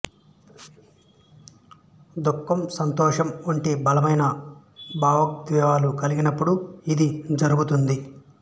దుఃఖం సంతోషం వంటి బలమైన భావోద్వేగాలు కలిగినపుడు ఇది జరుగుతుంది